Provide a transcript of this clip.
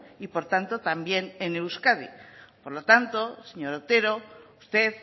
y por tanto también en euskadi por lo tanto señor otero usted